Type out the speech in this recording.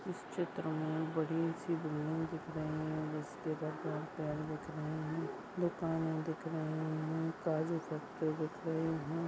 इस चित्र मे बडीसी बिल्डिग दिख रही है। और इसके तरफ पेड़ दिख रहा है। दुकाने दिख रहा है। दिख रही है।